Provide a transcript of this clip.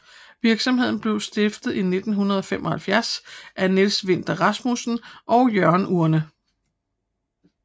Virksomheden blev stiftet i 1975 af Niels Vinther Rasmussen og Jørgen Urne